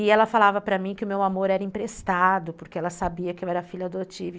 E ela falava para mim que o meu amor era emprestado, porque ela sabia que eu era filha adotiva.